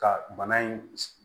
Ka bana in